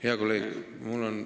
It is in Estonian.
Hea kolleeg!